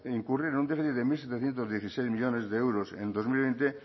incurrir en un delito de mil setecientos dieciséis millónes de euros en dos mil veinte